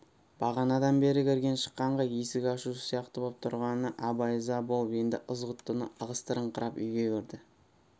бағанадан бері кірген-шыққанға есік ашушы сияқты боп тұрғанына абай ыза болып енді ызғұттыны ығыстырыңқырап үйге кірді